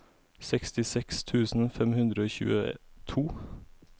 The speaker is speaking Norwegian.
sekstiseks tusen fem hundre og tjueto